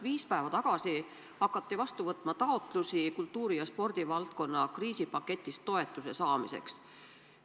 Viis päeva tagasi hakati vastu võtma taotlusi kultuuri- ja spordivaldkonna kriisipaketist toetuse saamiseks.